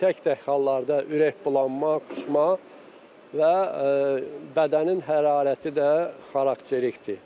Tək-tək hallarda ürəkbulanma, qusma və bədənin hərarəti də xarakterikdir.